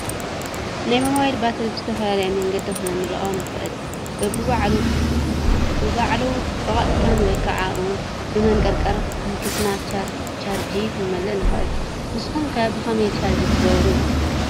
ናይ ሞባይል ባትሪ ብዝተፈላለየ መንገዲ ክንመልኦ ንኽእል፡፡ ብባዕሉ ብቐጥታን ወይ ከዓ ውን ብመንቀርቀር ኣንኪስና ቻርጅ ክንመልእ ንኽእል፡፡ ንስኹም ከ ብኸመይ ቻርጅ ትገብሩ?